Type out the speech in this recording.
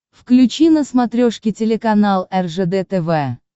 включи на смотрешке телеканал ржд тв